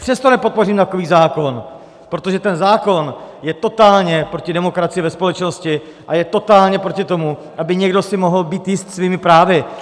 Přesto nepodpořím takový zákon, protože ten zákon je totálně proti demokracii ve společnosti a je totálně proti tomu, aby si někdo mohl být jist svými právy.